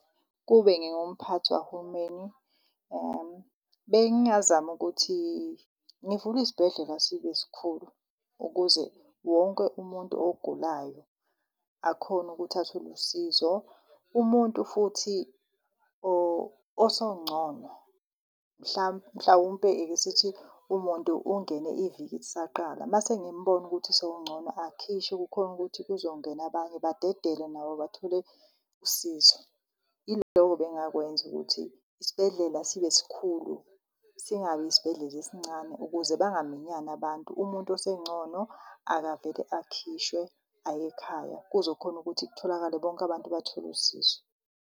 Ukube ngingumphathi wahulumeni, bengazama ukuthi ngivule isibhedlela sibe sikhulu ukuze wonke umuntu ogulayo akhone ukuthi athole usizo. Umuntu futhi osongcono mhlawumpe ekesithi umuntu ungene iviki lisaqala mase ngimbona ukuthi sewungcono akhishwe kukhone ukuthi kuzongena abanye badedelwe nabo bathole usizo. Yiloko ebengingakwenza ukuthi isibhedlela sibe sikhulu, singabi yisibhedlela esincane ukuze bangaminyani abantu. Umuntu osengcono akavele akhishwe ayekhaya kuzokhona ukuthi kutholakale, bonke abantu bathole usizo.